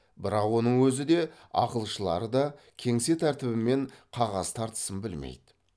бірақ оның өзі де ақылшылары да кеңсе тәртібі мен қағаз тартысын білмейді